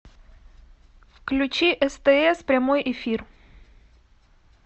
включи стс прямой эфир